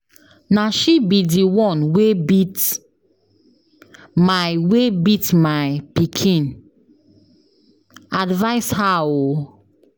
Na she be the one wey beat my wer beat my pikin? Advice her um